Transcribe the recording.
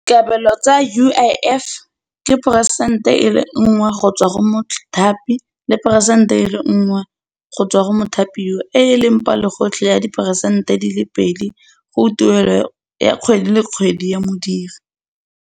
Dikabelo tsa U_I_F ke peresente e le nngwe go tswa go mothapi le peresente e le nngwe go tswa go mothapiwa e e leng palo gotlhe ya diperesente di le pedi go tuelo ya kgwedi le kgwedi ya modiri.